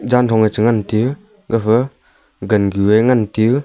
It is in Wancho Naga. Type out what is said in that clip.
ganthong che ngan tiu gafa gangue ngan tiu.